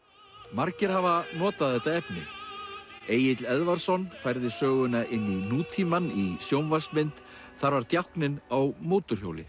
margir hafa notað þetta efni Egill Eðvarðsson færði söguna inn í nútímann í sjónvarpsmynd þar var djákninn á mótorhjóli